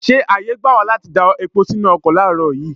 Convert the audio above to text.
Ṣé ààyè gbà wá láti da epo sínú ọkọ láàárọ̀ yìí?